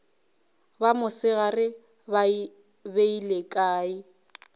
ba mosegare ba beile kae